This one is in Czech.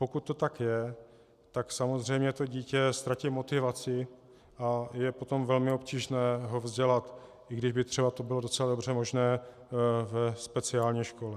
Pokud to tak je, tak samozřejmě to dítě ztratí motivaci a je potom velmi obtížné ho vzdělat, i když by to třeba bylo docela dobře možné ve speciální škole.